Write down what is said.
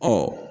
Ɔ